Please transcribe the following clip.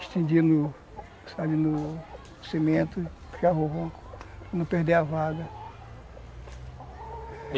Estendi no cimento, puxar rolo, para não perder a vaga.